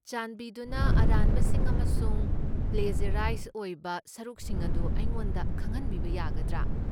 ꯆꯥꯟꯕꯤꯗꯨꯅ ꯑꯔꯥꯟꯕꯁꯤꯡ ꯑꯃꯁꯨꯡ ꯄ꯭ꯂꯦꯖ꯭ꯌꯔꯥꯏꯖ ꯑꯣꯏꯕ ꯁꯔꯨꯛꯁꯤꯡ ꯑꯗꯨ ꯑꯩꯉꯣꯟꯗ ꯈꯪꯍꯟꯕꯤꯕ ꯌꯥꯒꯗ꯭ꯔꯥ?